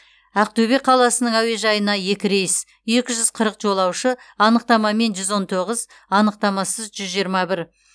ақтөбе қаласының әуежайына екі рейс екі жүз қырық жолаушы анықтамамен жүз он тоғыз анықтамасыз жүз жиырма бір